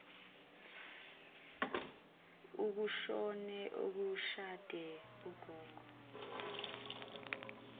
kushone oshade ugogo